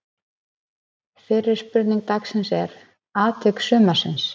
Fyrri spurning dagsins er: Atvik sumarsins?